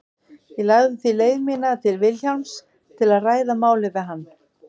Ég lagði því leið mína til Vilhjálms til að ræða málið við hann.